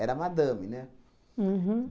madame, né? Uhum